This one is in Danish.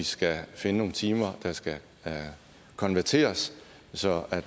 skal finde nogle timer der skal konverteres så